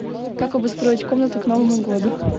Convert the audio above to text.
как обустроить комнату к новому году